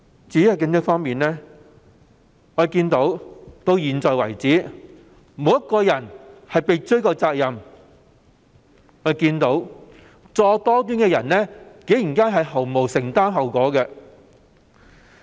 至於警隊方面，我們看到迄今為止，沒有任何一位人員被追究責任，作惡多端的人竟然不用承擔後果。